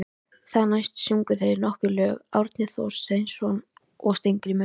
Þar næst sungu þeir nokkur lög, Árni Thorsteinsson og Steingrímur